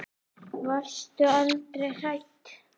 Varstu aldrei hrædd?